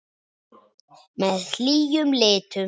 Með hlýjum litum.